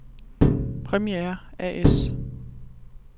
Premiair A/S